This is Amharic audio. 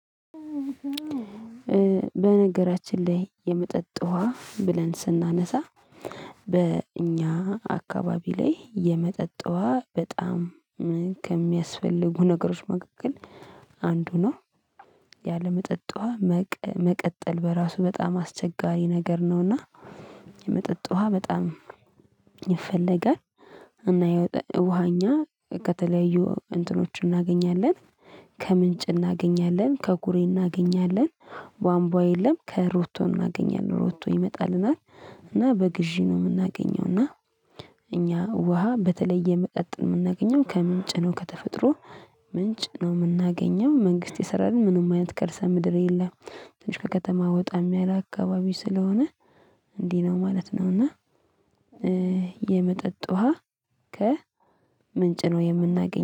በነገራችን ላይ የመጠጥ ውሃ ብለን ስናነሳ በእኛ አካባቢ ላይ የመጠጥ ውሃ በጣም ከሚያስፈልጉ ነገሮች መካከል አንዱ ነው። ያለመጠጥ ውሃ መቀጠል በራሱ በጣም አስቸጋሪ ነገር ነውና። የመጠጥ ውሃ በጣም ይፈለጋል። እና ውሃ እኛ ከተለያዩ እንትኖችን እናገኛለን ከምንጭ እናገኛለን ከኩሬ እናገኛለን ባንቧ የለም ከሮቶ እናገኛለን ሮቶ ይመጣልናል እና በግዢ ነው የምናገኘው። እና እኛ ውሃ በተለየ የመጠጥ የምናገኘው ከምንጭ ነው ከተፈጥሮ ምንጭ ነው የምናገኘው። መንግስት ይሰራልን ምንም አይነት ከእርሰ ምድር የለም ትንሽ ከከተማ ወጣም ያለ አካባቢ ስለሆነ እንዲህ ነው ማለት ነው። እና የመጠጥ ውሃ ከ ምንጭ ነው የምናገኘው